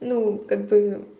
ну как бы